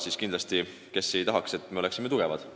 Seda kindlasti – kes ei tahaks, et me oleme tugevad.